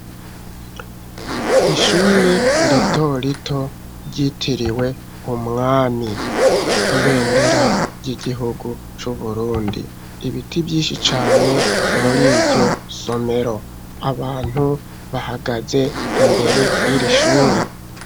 Ishure rito rito ryitiriwe umwami, ibendera ry'igihugu c'Uburundi, ibiti vyinshi cane muriryo somero, abantu bahagaze imbere yiri shuri.